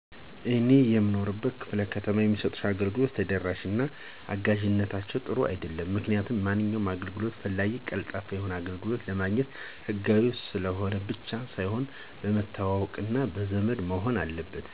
እኔ በምኖርበት ክ/ከተማ የሚሰጡ አገልግሎቶች ተደራሽነታቸው እና አጋዥነታቸው ጥሩ አይደለም. ምክንያቱም ማንኛውም አገልግሎት ፈላጊ ቀልጣፋ የሆነ አገልግሎት ለማግኘት ሕጋዊ ስለሆነ ብቻ ሳይሆን መተዋወቅ እና ዘመድ መሆን አለበት.